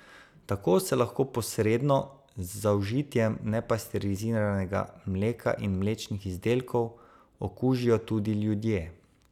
Tako se lahko posredno, z zaužitjem nepasteriziranega mleka in mlečnih izdelkov, okužijo tudi ljudje.